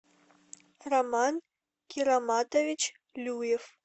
роман кироматович люев